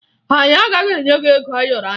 Anyị agaghị enye ya ego ayọrọ anyị